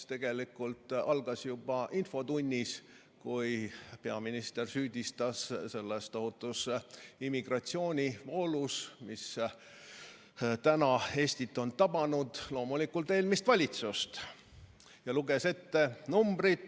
See sai alguse juba infotunnis, kui peaminister süüdistas selles tohutus immigratsioonivoolus, mis Eestit on tabanud, loomulikult eelmist valitsust ja luges ette numbrid.